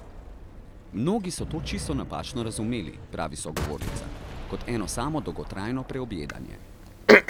Mnogi so to čisto napačno razumeli, pravi sogovornica, kot eno samo dolgotrajno preobjedanje.